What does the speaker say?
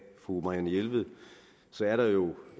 fru marianne jelved er der jo